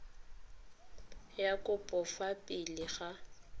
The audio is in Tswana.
ya kopo fa pele ga